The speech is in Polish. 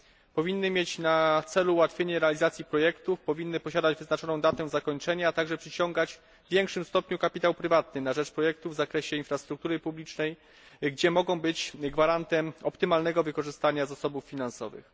Powinny mieć na celu ułatwienie realizacji projektów, powinny posiadać wyznaczoną datę zakończenia, a także przyciągać w większym stopniu kapitał prywatny na rzecz projektów w zakresie infrastruktury publicznej, gdzie mogą być gwarantem optymalnego wykorzystania zasobów finansowych.